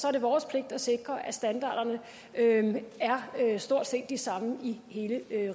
er det vores pligt at sikre at standarderne er stort set de samme i hele